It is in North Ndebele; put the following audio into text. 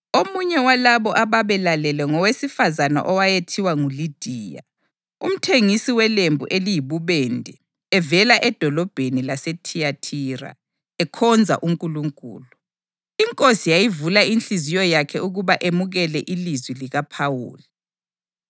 Omunye walabo ababelalele ngowesifazane owayethiwa nguLidiya, umthengisi welembu eliyibubende evela edolobheni laseThiyathira, ekhonza uNkulunkulu. INkosi yayivula inhliziyo yakhe ukuba emukele ilizwi likaPhawuli.